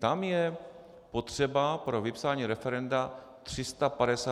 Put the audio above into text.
Tam je potřeba pro vypsání referenda 350 tisíc podpisů.